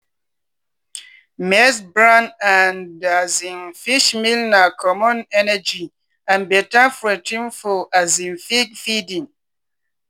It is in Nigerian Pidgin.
maize bran and um fish meal na common energy and better protein for um pig feeding.